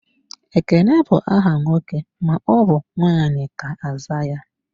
Ekene bụ aha nwoke ma ọbụ nwanyị ga-aza.